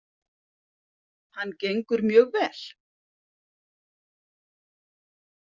. hann gengur mjög vel.